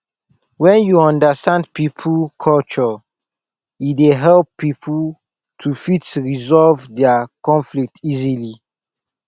when we understand pipo culture e dey help pipo to fit resolve their conflict easily